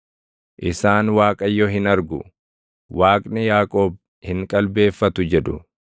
Isaan, “ Waaqayyo hin argu; Waaqni Yaaqoob hin qalbeeffatu” jedhu.